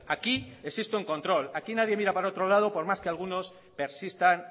aquí existe un control aquí nadie mira para otro lado por más que algunos persistan